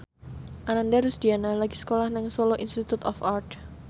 Ananda Rusdiana lagi sekolah nang Solo Institute of Art